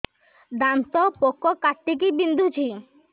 ଦାନ୍ତ ପୋକ କାଟିକି ବିନ୍ଧୁଛି